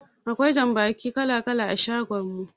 Akwai jambaki kala-kala a shagon mu.